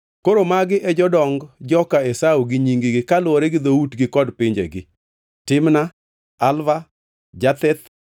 Koro magi e jodong joka Esau gi nying-gi, kaluwore gi dhoutgi kod pinjegi: Timna, Alva, Jetheth,